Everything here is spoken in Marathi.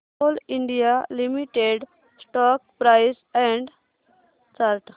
Coal India Limited stock price and chart